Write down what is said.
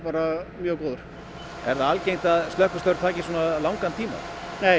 mjög góður er það algengt að slökkvistörf taki svona langan tíma nei